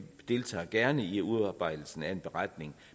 deltager gerne i udarbejdelsen af en beretning